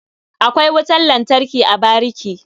Akwai wutan lantarki a bariki.